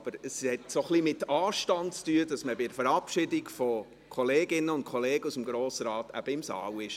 Aber es hat einfach ein wenig mit Anstand zu tun, dass man bei der Verabschiedung von Kolleginnen und Kollegen aus dem Grossen Rat eben im Saal ist.